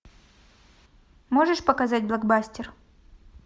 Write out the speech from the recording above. можешь показать блокбастер